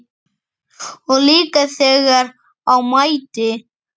Og líka þegar á mæddi.